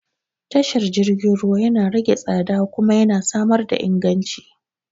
Tashar jirgin ruwa yana rage tsada kuma yana samar da inganci.